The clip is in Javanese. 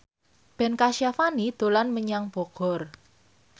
Ben Kasyafani dolan menyang Bogor